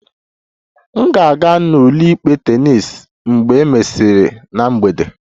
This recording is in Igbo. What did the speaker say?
M ga-aga n'ụlọikpe tennis mgbe e mesịrị na mgbede